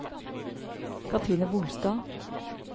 Katrine Bolstad